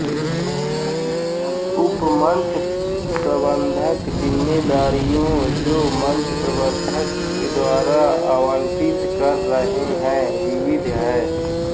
उप मंच प्रबंधक जिम्मेदारियों जो मंच प्रबंधक द्वारा आवंटित कर रहे हैं विविध है